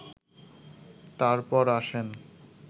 তারপর আসেন